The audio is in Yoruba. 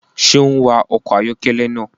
Ṣe o n wa ọkọ ayọkẹlẹ náà?